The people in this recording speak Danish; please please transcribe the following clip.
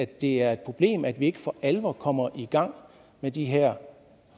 det er et problem at vi ikke for alvor kommer i gang med de her